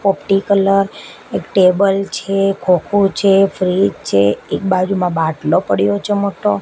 પોપટી colour એક table છે ખોખું છે ફ્રીજ છે એક બાજુમાં બાટલો પડ્યો છે મોટો.